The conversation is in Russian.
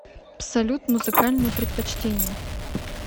салют музыкальные предпочтения